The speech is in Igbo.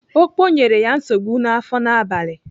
Okpo nyere ya nsogbu n'afọ n'abalị.